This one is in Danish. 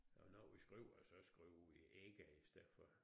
Og når vi skriver så skriver vi ikke i stedet for